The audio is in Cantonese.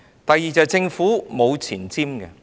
第二點，政府沒有前瞻性。